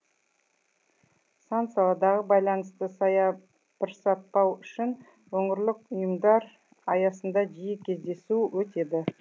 сан саладағы байланысты саябырсытпау үшін өңірлік ұйымдар аясында жиі кездесу өтеді